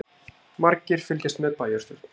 Margir fylgjast með bæjarstjórn